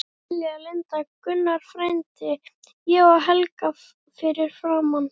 Lilja, Linda, Gunnar frændi, ég og Helga fyrir framan.